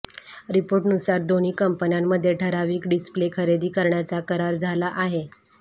रिपोर्टनुसार दोन्ही कंपन्यांमध्ये ठराविक डिस्प्ले खरेदी करण्याचा करार झाला आहे